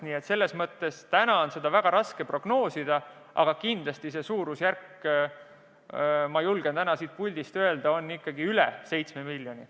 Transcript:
Nii et selles mõttes on täna seda väga raske prognoosida, aga kindlasti on see suurusjärk, mis ma julgen täna siit puldist öelda, ikkagi üle 7 miljoni.